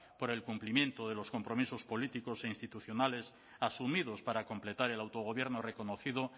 por el cumplimiento de los compromisos políticos e institucionales asumidos para completar el autogobierno reconocido